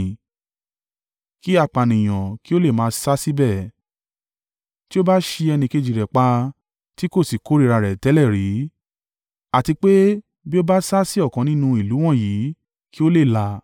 Kí apànìyàn kí ó lè máa sá síbẹ̀, tí ó bá ṣi ẹnìkejì rẹ̀ pa, tí kò sì kórìíra rẹ̀ tẹ́lẹ̀ rí, àti pé bí ó bá sá sí ọ̀kan nínú ìlú wọ̀nyí kí ó lè là.